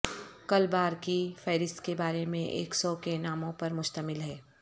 کل بار کی فہرست کے بارے میں ایک سو کے ناموں پر مشتمل ہے